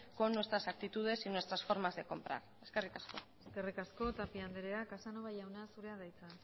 con nuestras actitudes y nuestras formas de comprar eskerrik asko eskerrik asko tapia anderea casanova jauna zurea da hitza